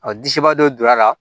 disiba dɔ donna a la